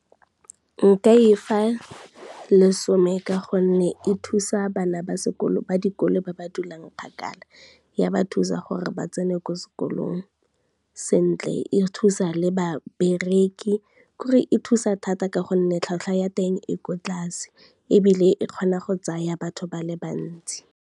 Nka e fa lesome ka gonne, e thusa bana ba dikolo ba ba dulang kgakala ya ba thusa gore ba tsene ko sekolong sentle, e thusa le babereki kore e thusa thata ka gonne tlhwatlhwa ya teng e ko tlase ebile e kgona go tsaya batho ba le bantsi.